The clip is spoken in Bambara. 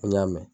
Ko n y'a mɛn